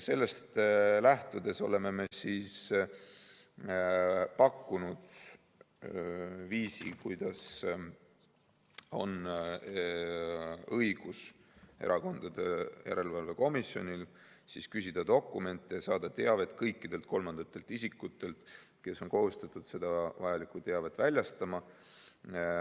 Sellest lähtudes oleme pakkunud viisi, kuidas oleks Erakondade Rahastamise Järelevalve Komisjonil õigus küsida dokumente ja saada teavet kõikidelt kolmandatelt isikutelt, kes on kohustatud vajalikku teavet väljastama.